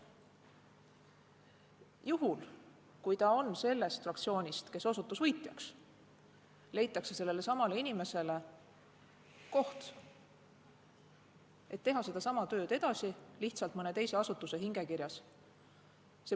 Juhul kui ta on sellest fraktsioonist, kes osutus võitjaks, leitakse talle koht, et ta saaks teha sedasama tööd edasi lihtsalt mõne teise asutuse hingekirjas.